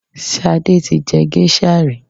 Sade ti jẹ géṣà ri.